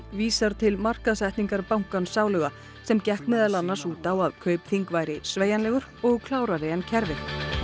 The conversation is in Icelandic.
vísar til markaðssetningar bankans sáluga sem gekk meðal annars út á að Kaupþing væri sveigjanlegur og klárari en kerfið